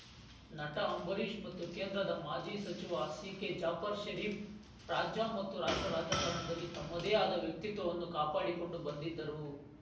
ನಟ ಅಂಬರೀಷ್‌ ಮತ್ತು ಕೇಂದ್ರದ ಮಾಜಿ ಸಚಿವ ಸಿಕೆಜಾಫರ್ ಷರೀಪ್‌ ರಾಜ್ಯ ಮತ್ತು ರಾಷ್ಟ್ರ ರಾಜಕಾರಣದಲ್ಲಿ ತಮ್ಮದೇ ಆದ ವ್ಯಕ್ತಿತ್ವವನ್ನು ಕಾಪಾಡಿಕೊಂಡು ಬಂದಿದ್ದರು